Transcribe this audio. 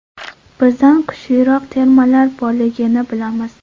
Bizdan kuchliroq termalar borligini bilamiz.